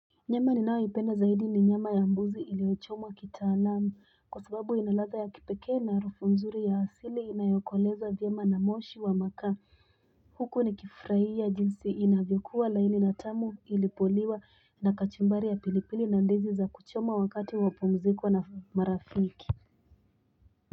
Nyama ni nao ipenda zaidi ni nyama ya mbuzi iliochomwa kita alamu kwa sababu inalaza ya kipeke na rufu mzuri ya hasili inayokwaleza vyama na moshi wa maka huko ni kifurai ya jinsi inavyokuwa laini na tamu ilipoliwa na kachumbari ya pilipili na ndizi za kuchoma wakati wapomzikuwa na marafiki.